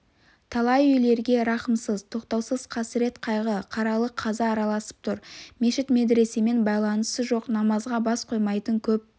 талай үйлерге рахымсыз тоқтаусыз қасірет-қайғы қаралы қаза араласып тұр мешіт-медресемен байланысы жоқ намазға бас қоймайтын көп